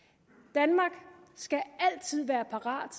danmark skal altid være parat